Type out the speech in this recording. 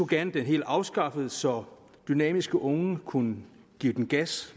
gerne helt afskaffet så dynamiske unge kunne give den gas